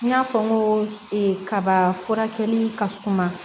N y'a fɔ n ko kaba furakɛli ka suma